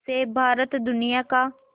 से भारत दुनिया का